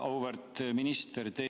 Auväärt minister!